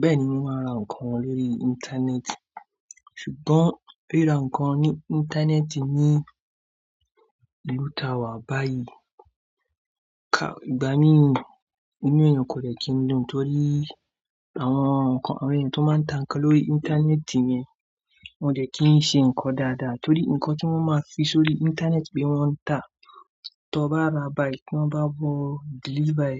Bẹ́ẹ̀ni mò ń ra nǹkan lórí Íńtánẹ́ẹ̀tì, ṣùgbọ́n rí ra nǹkan ní Íńtánẹ́ẹ̀tì ní ìlú ta wà báyìí ká ìgbà mí inú èèyàn kò dẹ kí n dùn torí àwọn nǹkan àwọn èèyàn tó máa ń tà nǹkan lórí Íńtánẹ́ẹ̀tì yẹn wọ́n le kí n ṣe nǹkan dáadáa torí nǹkan tí wọ́n máa fi sórí Íńtánẹ́ẹ̀tì pé wọ́n ń tà, tí o bá ra báyìí kí wọ́n bá bọ̀ deliver,